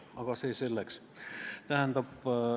Aga see selleks.